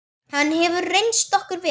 Hann hefur reynst okkur vel.